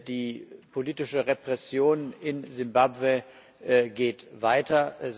Die politische Repression in Simbabwe geht weiter.